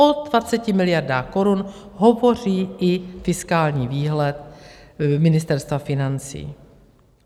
O 20 miliardách korun hovoří i fiskální výhled Ministerstva financí.